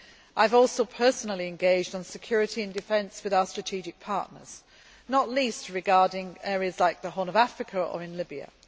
I have also personally engaged on security and defence with our strategic partners, not least regarding areas like the Horn of Africa or in Libya.